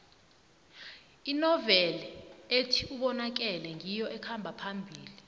inoveli ethi ubonakele ngiyo ekhamba phambili